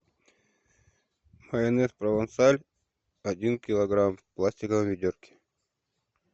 майонез провансаль один килограмм в пластиковой ведерке